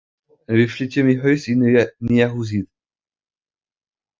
Já, en við flytjum í haust í nýja húsið.